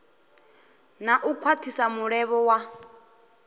na u khwathisa mulevho wa